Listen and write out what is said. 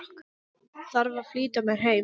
Þarf að flýta mér heim.